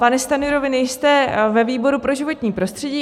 Pane Stanjuro, vy nejste ve výboru pro životní prostředí.